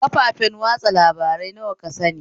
Kafafen watsa labarai nawa ka sani?